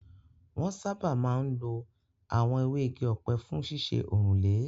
Wọn sáábà máa ń lo àwọn ewé igi ọ̀pẹ fún ṣíṣe òrùlé.